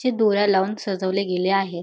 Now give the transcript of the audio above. ची दोऱ्या लावून सजवले गेले आहे.